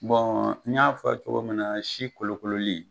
n y'a fɔ cogo min na si kolokololi.